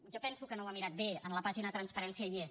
jo penso que no ho ha mirat bé en la pàgina de transparència hi és